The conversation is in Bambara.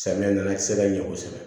Samiya na sɛbɛn ɲɛ kosɛbɛ